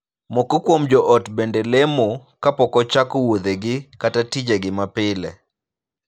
Moko kuom joot bende lemo ka pok ochako wuodhegi kata tijegi mapile.